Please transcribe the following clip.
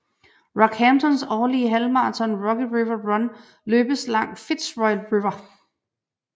Rockhamptons årlige halvmarathon Rocky River Run løbes langs Fitzroy River